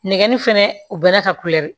Nɛgɛnni fɛnɛ u bɛn'a ka